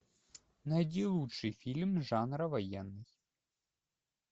найди лучший фильм жанра военный